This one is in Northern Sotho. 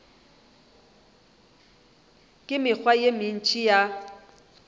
le mekgwa ye mentši ya